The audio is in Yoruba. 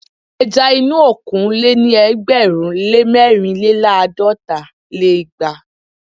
ẹja inú òkun lé ní ẹgbẹ̀rún lé mẹ́rìnléláàdọ́ta lé igba